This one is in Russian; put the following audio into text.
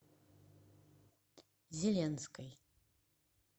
зеленской